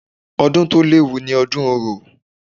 Ọdún to léwu ni ọdún orò.